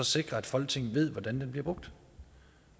sikre at folketinget ved hvordan den bliver brugt